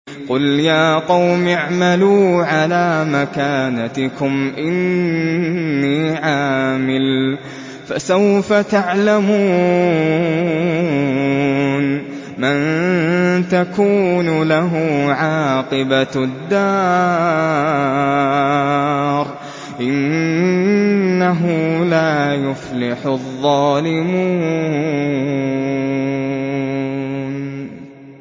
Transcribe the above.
قُلْ يَا قَوْمِ اعْمَلُوا عَلَىٰ مَكَانَتِكُمْ إِنِّي عَامِلٌ ۖ فَسَوْفَ تَعْلَمُونَ مَن تَكُونُ لَهُ عَاقِبَةُ الدَّارِ ۗ إِنَّهُ لَا يُفْلِحُ الظَّالِمُونَ